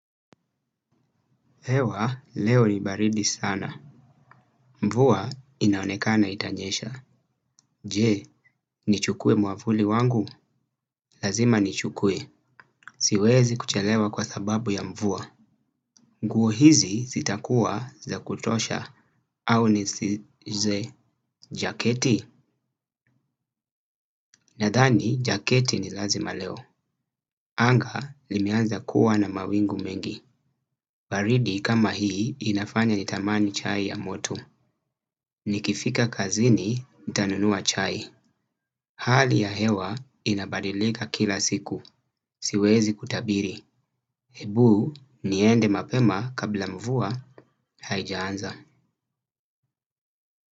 Hewa, leo ni baridi sana. Mvua inaonekana itanyesha. Je, nichukue mwavuli wangu? Lazima nichukue. Siwezi kuchelewa kwa sababu ya mvua. Nguo hizi zitakua za kutosha au nisize jaketi. Nadhani, jaketi ni lazima leo. Anga limeanza kuwa na mawingu mengi. Baridi kama hii inafanya nitamani chai ya moto. Nikifika kazini, nitanunua chai. Hali ya hewa inabadilika kila siku, siwezi kutabiri. Hebu niende mapema kabla mvua haijaanza.